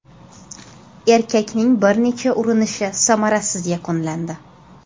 Erkakning bir necha urinishi samarasiz yakunlandi.